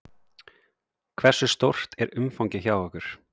Hversu stórt er umfangið hjá ykkur?